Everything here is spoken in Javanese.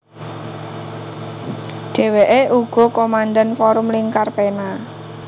Dheweke uga komandan Forum Lingkar Pena